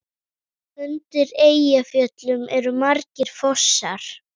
Undir Eyjafjöllum eru margir fossar.